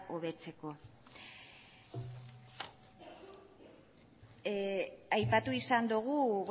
hobetzeko aipatu izan dogu